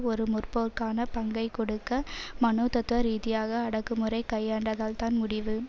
ஒரு முற்போக்கான பங்கை கொடுக்க மனோதத்துவரீதியாக அடக்குமுறை கையாண்டால்தான் முடியும்